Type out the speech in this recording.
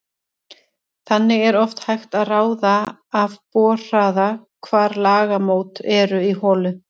Þannig er oft hægt að ráða af borhraða hvar lagamót eru í holu.